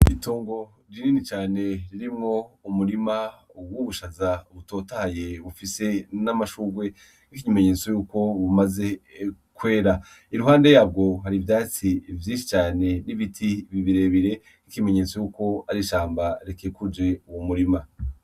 Itongo ririni cane ririmwo umurima uwubushaza butotaye ufise n'amashurwe nk'ikimenyetso yuko bumaze kwera iruhande yabwo hari ivyatsi vyinshi cane r'ibiti bibirebire k'ikimenyetso yuko arishamba rekekuje uwu murima.